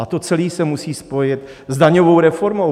A to celé se musí spojit s daňovou reformou.